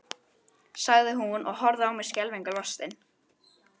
sagði hún og horfði á mig skelfingu lostin.